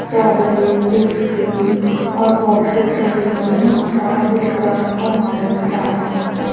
chocolate biscuit और boxes रखे हुए हैं सारा कुछ किराना का माल मिलता है यहां प--